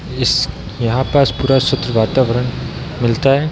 इस यहाँ पास पूरा स्वच्छ वातावरण मिलता है।